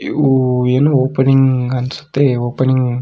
ಇವು ಏನೋ ಓಪನಿಂಗ್ ಅನ್ಸುತ್ತೆ ಓಪನಿಂಗ್ --